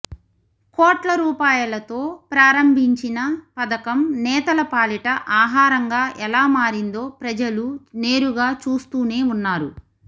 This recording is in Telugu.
కోట్లరూపాయలతో ప్రారంభిం చిన పథకం నేతల పాలిట ఆహారంగా ఎలా మారిందో ప్రజలు నేరుగా చూస్తూనే ఉన్నారు